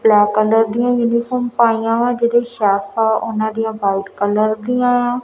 Black colour ਦੀ uniform ਪਾਈ ਹ ਜਿਹਦੇ ਵਿੱਚ ਸ਼ਰਟ ਆ ਵਾਈਟ ਕਲਰ ਦੀਆਂ ਆ।